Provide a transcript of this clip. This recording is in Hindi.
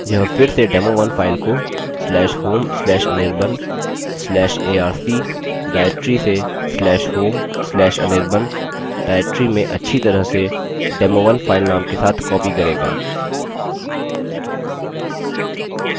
यह फिर से demo1 फाइल को/home/anirban/arc/directory से/home/anirban directory में अच्छी तरह से demo1 फाइल name के साथ copy करेगा